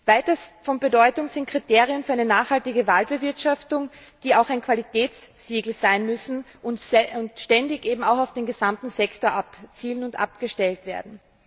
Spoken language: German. Weiters von Bedeutung sind Kriterien für eine nachhaltige Waldbewirtschaftung, die auch ein Qualitätssiegel sein müssen und ständig auch auf den gesamten Sektor abzielen und abgestellt werden.